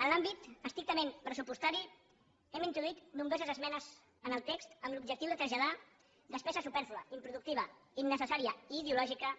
en l’àmbit estrictament pressupostari hem introduït nombroses esmenes en el text amb l’objectiu de traslladar despesa supèrflua improductiva innecessària i ideològica